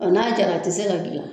Ɔ n'a jara a tɛ se ka dilan.